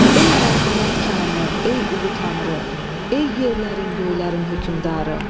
Ey mərhəmət kanı, ey ulu tanrı, ey yerlərin, göylərin hökmdarı!